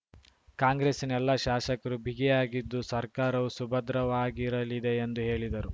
ಕಾಂಗ್ರೆಸ್ಸಿನ ಎಲ್ಲಾ ಶಾಶಕರೂ ಬಿಗಿಯಾಗಿದ್ದು ಸರ್ಕಾರವೂ ಸುಭದ್ರವಾಗಿರಲಿದೆ ಎಂದು ಹೇಳಿದರು